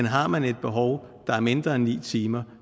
har man et behov der er mindre end ni timer